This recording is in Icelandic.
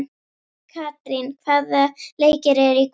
Katrín, hvaða leikir eru í kvöld?